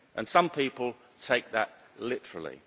Some people take that literally.